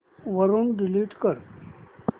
वरून डिलीट कर